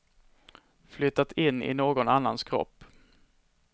Flyttat in i någon annans kropp.